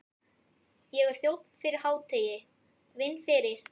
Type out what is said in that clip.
Ég er þjónn fyrir hádegi, vinn fyrir